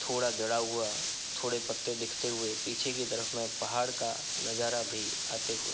थोड़ा जड़ा हुआ थोड़े पत्ते दिखते हुए पीछे की तरफ मैं पहाड़ का नज़ारा भी आते हुए।